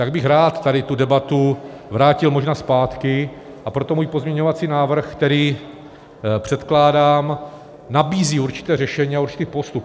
Tak bych rád tady tu debatu vrátil možná zpátky, a proto můj pozměňovací návrh, který předkládám, nabízí určité řešení a určitý postup.